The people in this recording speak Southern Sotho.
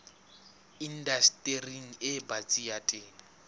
indastering e batsi ya temo